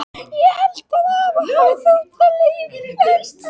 Ég held að afa hafi þótt það leiðinlegt.